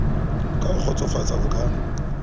ka ho kgotsofatsa o ka